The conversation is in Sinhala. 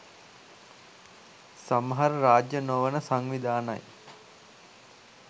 සමහර රාජ්‍ය නොවන සංවිධානයි